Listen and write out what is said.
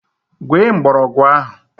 Gwee mgbọrọgwụ ahụ!